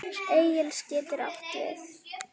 Elis getur átt við